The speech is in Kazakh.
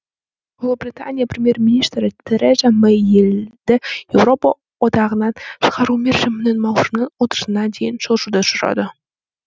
ұлыбритания премьер министрі тереза мэй елді еуропа одағынан шығару мерзімін маусымның отызына дейін созуды сұрады